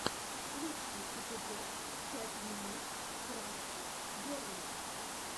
лучший эпизод пять минут крафтс герли